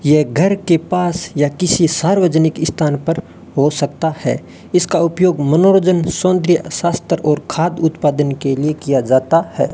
यह घर के पास या किसी सार्वजनिक स्थान पर हो सकता है इसका उपयोग मनोरंजन सौंदर्य शास्त्र और खाद उत्पादन के लिए किया जाता है।